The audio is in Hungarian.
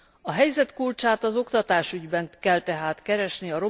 A helyzet kulcsát az oktatásügyben kell tehát keresni.